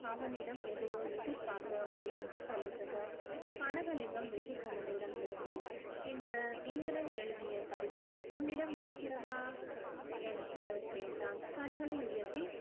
அவனிடம் எதையோ எதிர்பார்த்து மலர்ந்து தொலைத்தது கனகலிங்கம் வெற்றிப் புன்னகையுடன் திரும்பி இந்த இந்திரன் எழுதிய கடிதம் உன்னிடம் இருக்கிறதா என்று கேட்டான் கண்களை உயர்த்தி